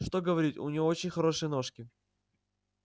что говорить у неё очень хорошенькие ножки